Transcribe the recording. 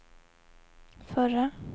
förra